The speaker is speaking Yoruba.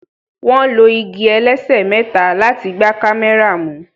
wón ló ìgi ẹlẹsẹ méta láti gbà kámẹ́rà mú